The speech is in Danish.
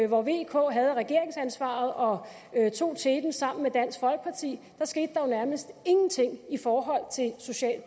hvor vk havde regeringsansvaret og tog teten sammen med dansk folkeparti skete der jo nærmest ingenting i forhold til social